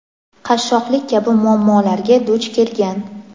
qashshoqlik kabi muammolarga duch kelgan.